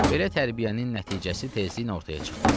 Belə tərbiyənin nəticəsi tezliklə ortaya çıxdı.